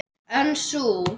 En sú